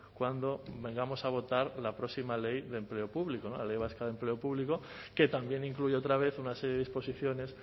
cuando vengamos a votar la próxima ley de empleo público no la ley vasca de empleo público que también incluye otra vez una serie de disposiciones